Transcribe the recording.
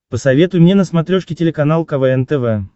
посоветуй мне на смотрешке телеканал квн тв